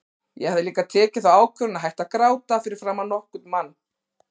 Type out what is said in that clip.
Ég hafði líka tekið þá ákvörðun að hætta að gráta fyrir framan nokkurn mann.